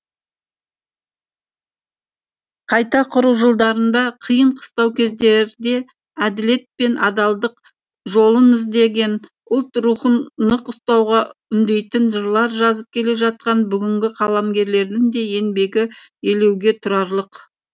қайта құру жылдарында қиын қыстау кездерде әділет пен адалдық жолын іздеген ұлт рухын нық ұстауға үндейтін жырлар жазып келе жатқан бүгінгі қаламгерлердің де еңбегі елеуге тұрарлық